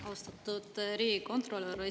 Austatud riigikontrolör!